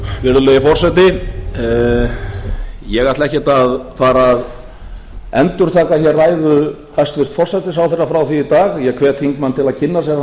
virðulegi forseti ég ætla ekkert að fara að endurtaka hér ræðu hæstvirts forsætisráðherra frá því í dag ég hvet þingmanninn til þess að kynna sér